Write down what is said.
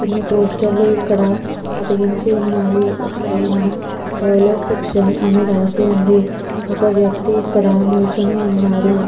కోని పోస్టర్ ఇక్కడ అతికించి ఉన్నాయి పయ్యేనా బాయిలర్ సెక్షన్ అని రాసివుంది ఒక వ్యక్తి ఇక్కడ నుంచొని వున్నారు.